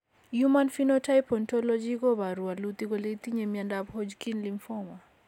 Human Phenotype Ontology koporu wolutik kole itinye Miondap Hodgkin lymphoma.